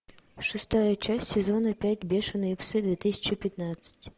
шестая часть сезона пять бешеные псы две тысячи пятнадцать